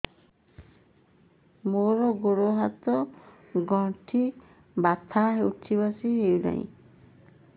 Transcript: ମୋର ଗୋଡ଼ ହାତ ର ଗଣ୍ଠି ବଥା ଉଠି ବସି ହେଉନାହିଁ